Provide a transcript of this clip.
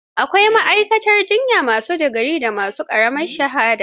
Akwai ma'aikatan jiyya ma su digiri da ma su ƙaramar shahada.